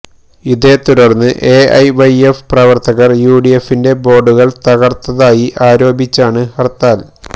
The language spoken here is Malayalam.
ഇതേ തുടർന്ന് എഎെവെെഎഫ് പ്രവർത്തകർ യുഡിഎഫിന്റെ ബോർഡുകൾ തകർത്തതായി ആരോപിച്ചാണ് ഹർത്താൽ